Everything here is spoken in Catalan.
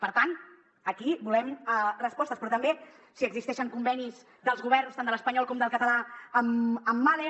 per tant aquí volem respostes però també si existeixen convenis dels governs tant de l’espanyol com del català amb mahle